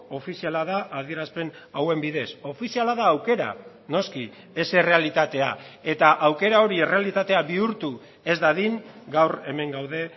ofiziala da adierazpen hauen bidez ofiziala da aukera noski ez errealitatea eta aukera hori errealitatea bihurtu ez dadin gaur hemen gaude